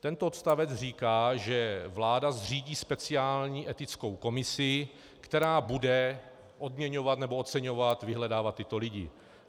Tento odstavec říká, že vláda zřídí speciální etickou komisi, která bude odměňovat nebo oceňovat, vyhledávat tyto lidi.